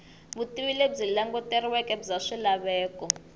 vutivi lebyi languteriweke bya swilaveko